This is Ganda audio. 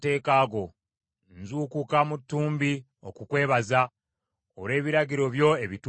Nzuukuka mu ttumbi okukwebaza, olw’ebiragiro byo ebituukirivu.